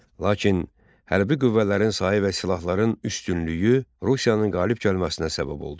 Lakin hərbi qüvvələrin sayı və silahların üstünlüyü Rusiyanın qalib gəlməsinə səbəb oldu.